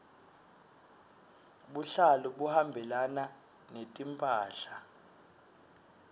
buhlalu buhambelana netimphahla